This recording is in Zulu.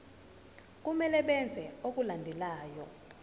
kumele benze okulandelayo